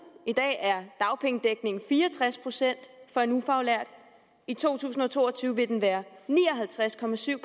i dag er dagpengedækningen fire og tres procent for en ufaglært i to tusind og to og tyve vil den være ni og halvtreds procent